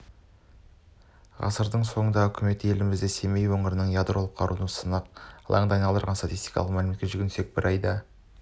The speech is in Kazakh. ғасырдың соңында үкіметі еліміздің семей өңірін ядролық қарудың сынақ алаңына айналдырды статистикалық мәліметке жүгінсек бір айда